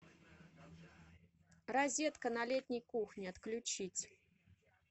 розетка на летней кухне отключить